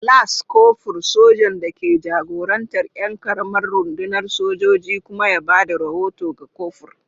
Las Kofur, sojan da ke jagorantar ƴan ƙaramar rundunar sojoji kuma ya ba da rahoto ga kofur.